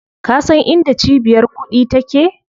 Ka san inda cibiyar kuɗi take?